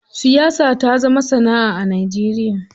Siyasa ta zama sanaʼa a Najeriya.